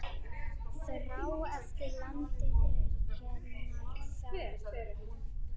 Þrá eftir landinu hennar fagra.